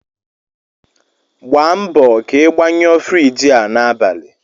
Gba mbọ ka ị gbanyụọ Friji a n'abalị!